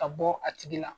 Ka bɔ a tigi la